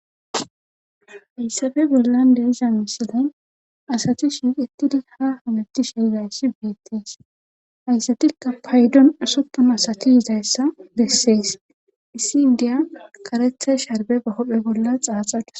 Hayssafe bollan de7iza misiley asati shiiqettidi ha hamettishe yizayssi beettees hayssatikka paydon usuppunasati yizaayssa bessees issi inddiya karetha sharbbe ba huuphe bolla xaaxadus.